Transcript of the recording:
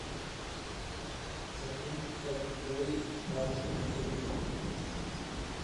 закинь пятьсот рублей бабушке на телефон